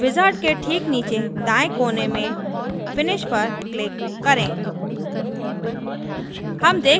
wizard के ठीक नीचे दाएँ कोने में पर finish पर click करें